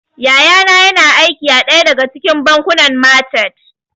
Yaya na yana aiki a ɗaya daga cikin bankunan machat